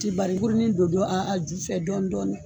Ti bari burunin don a jufɛ dɔɔnin dɔɔnin